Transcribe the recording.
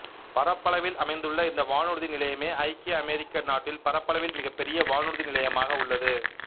பரப்பளவில் அமைந்துள்ள இந்த வானூர்தி நிலையமே ஐக்கிய அமெரிக்க நாட்டில் பரப்பளவில் மிகப் பெரிய வானூர்தி நிலையமாக உள்ளது